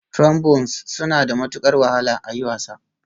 Trombones suna da matukar wahala a yi wasa